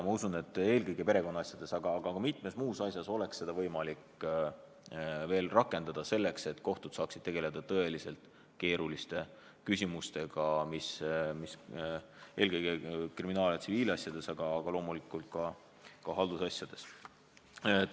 Ma usun, et eelkõige perekonnaasjades, aga ka mitmes muus asjas oleks seda võimalik veel rakendada, selleks et kohtud saaksid tegeleda tõeliselt keeruliste küsimustega, eelkõige kriminaal- ja tsiviilasjadega, aga loomulikult ka haldusasjadega.